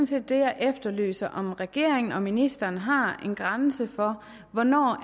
set det jeg efterlyser om regeringen og ministeren har en grænse for hvornår